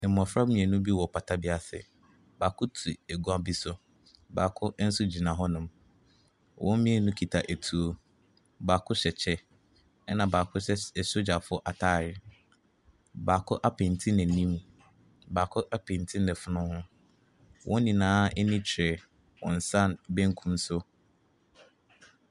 Mmɔfra mmienu bi wɔ pata bi ase. Baako te agua bi so. Baako nso gyina hɔnom. Wɔn mmienu kita etuo. Baako hyɛ kyɛ, ɛnna baako hyɛ s asogyafoɔ atare. Baako apenti n'anim. Baako apenti n'afono ho. Wɔn nyinaa ani hwɛ wɔn nsa benkum so.